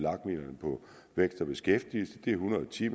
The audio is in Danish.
vækst og beskæftigelse det er en hundrede og ti